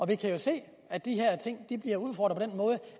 vi kan jo se at de her ting bliver udfordret